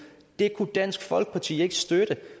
det kunne dansk folkeparti ikke støtte